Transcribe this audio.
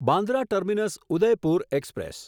Bandra terminus Udaipur express